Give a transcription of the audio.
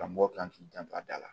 Karamɔgɔ kan k'i janto a da la